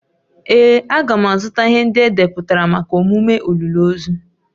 Ee, a ga m azụta ihe ndị edepụtara maka emume olili ozu